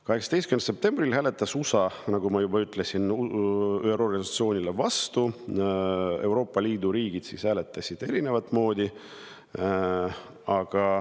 18. septembril hääletas USA, nagu ma juba ütlesin, ÜRO resolutsioonile vastu, Euroopa Liidu riigid hääletasid erinevat moodi.